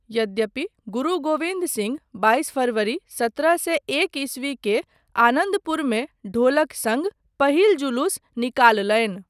यद्यपि, गुरु गोबिन्द सिंह बाइस फरवरी, सत्रह सए एक ईस्वी के आनन्दपुरमे ढोलक सङ्ग पहिल जुलूस निकाललनि।